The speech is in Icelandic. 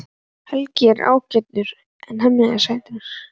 Helgi er líka ágætur en Hemmi er sætari.